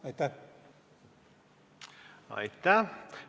Aitäh!